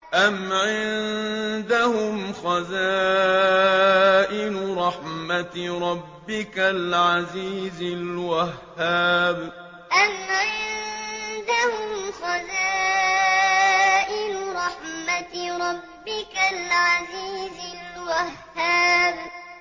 أَمْ عِندَهُمْ خَزَائِنُ رَحْمَةِ رَبِّكَ الْعَزِيزِ الْوَهَّابِ أَمْ عِندَهُمْ خَزَائِنُ رَحْمَةِ رَبِّكَ الْعَزِيزِ الْوَهَّابِ